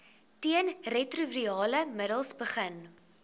teenretrovirale middels begin